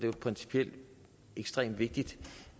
jo principielt ekstremt vigtigt